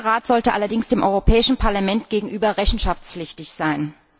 Dieser Rat sollte allerdings dem Europäischen Parlament gegenüber rechenschaftspflichtig sein.